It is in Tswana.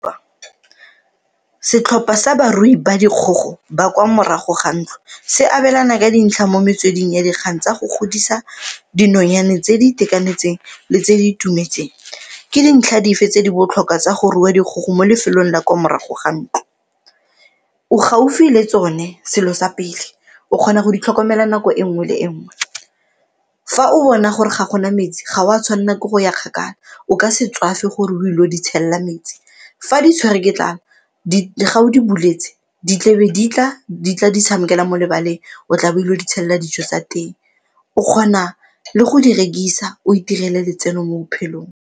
Setlhopha sa barui ba dikgogo ba kwa morago ga ntlo, se abelana ka dintlha mo metsweding ya dikgang tsa go godisa dinonyane tse di itekanetseng le tse di itumetseng, ke dintlha dife tse di botlhokwa tsa go rua dikgogo mo lefelong la kwa morago ga ntlo? O gaufi le tsone selo sa pele, o kgona go di tlhokomela nako e nngwe le e nngwe. Fa o bona gore ga gona metsi ga o a tshwanela ke go ya kgakala o ka se tswafe gore o ile go di tshela metsi, fa di tshwere ke tlala fa o di buletse di tlebe di tla di tla di tshamekela mo lebaleng o tla bo dilo di tshela dijo tsa teng, o kgona le go di rekisa o itirele letseno mo bophelong.